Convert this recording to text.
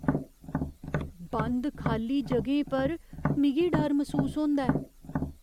बंद खाल्ली ज'गें पर मिगी डर मसूस होंदा ऐ।